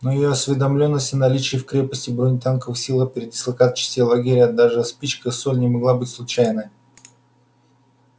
но её осведомлённость о наличии в крепости бронетанковых сил о передислокации частей лагеря даже о спичках и соли не могла быть случайной